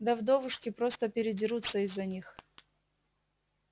да вдовушки просто передерутся из-за них